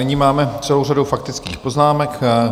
Nyní máme celou řadu faktických poznámek.